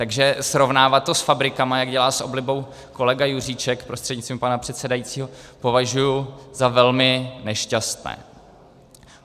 Takže srovnávat to s fabrikami, jak dělá s oblibou kolega Juříček prostřednictvím pana předsedajícího, považuji za velmi nešťastné.